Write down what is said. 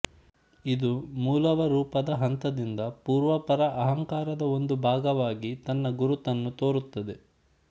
ಇದು ಮೂಲವರೂಪದ ಹಂತದಿಂದ ಪೂರ್ವಾಪರಅಹಂಕಾರದ ಒಂದು ಭಾಗವಾಗಿ ತನ್ನ ಗುರುತನ್ನು ತೋರುತ್ತದೆ